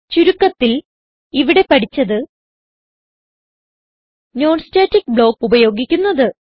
ചുരുക്കത്തിൽ ഇവിടെ പഠിച്ചത് non സ്റ്റാറ്റിക് ബ്ലോക്ക് ഉപയോഗിക്കുന്നത്